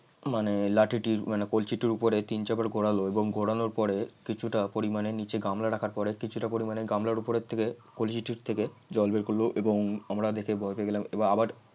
মানে লাঠিটির মানে কলসিটির উপরে তিন চার বার ঘোরালো এবং ঘোরানোর পরে কিছুটা পরিমাণে নিচে গামলা রাখার পরে কিছুটা পরিমাণে গামলার উপর থেকে কলসিটি থেকে জল বের করল এবং আমরা দেখে ভয় পেয়ে গেলাম। এবং আবার